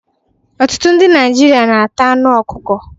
Ọtụtụ ndị Naịjirịa ga-ata anụ ọkụkọ